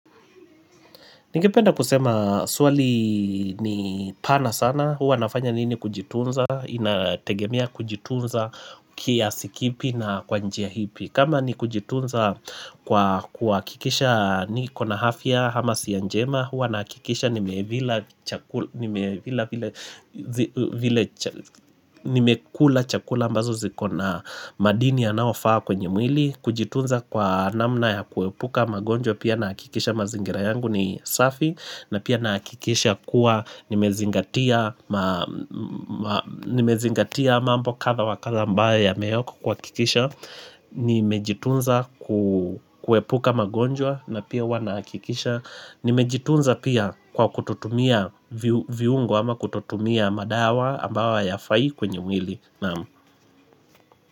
Ningependa kusema swali ni pana sana, huwa nafanya nini kujitunza, inategemea kujitunza kiasi kipi na kwa njia hipi. Kama ni kujitunza kwa kuhakikisha niko na hafya hama siya njema, huwa nahakikisha nimevila chakula nimekula chakula ambazo ziko na madini yanaofaa kwenye mwili. Kujitunza kwa namna ya kuwepuka magonjwa pia naakikisha mazingira yangu ni safi na pia naakikisha kuwa nimezingatia nimezingatia mambo kadha wa kadha ambae yameyokwa kuhakikisha Nimejitunza kuwepuka magonjwa na pia huwa nahakikisha Nimejitunza pia kwa kutotutumia viungo ama kutotutumia madawa ambau hayafai kwenye mwili.